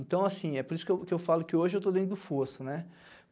Então, assim, é por isso que que eu falo que hoje eu estou dentro do fosso, né?